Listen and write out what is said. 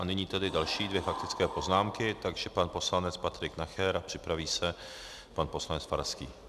A nyní tedy další dvě faktické poznámky, takže pan poslanec Patrik Nacher a připraví se pan poslanec Farský.